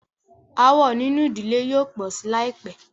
Aàwọ̀ nínú ìdílé yóò pọ̀ sí láìpẹ́.